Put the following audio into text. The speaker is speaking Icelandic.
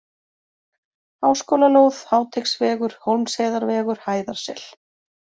Háskólalóð, Háteigsvegur, Hólmsheiðarvegur, Hæðarsel